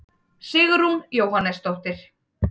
Sigrún Jóhannesdóttir.